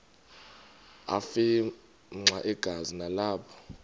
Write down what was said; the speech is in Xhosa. afimxa igazi nalapho